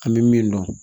An bɛ min dɔn